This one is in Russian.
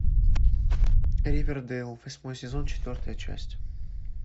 ривердэйл восьмой сезон четвертая часть